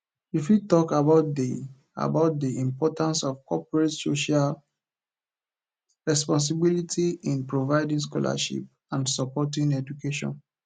you fit talk about di about di importance of corporate social responsibility in providing scholarships and supporting education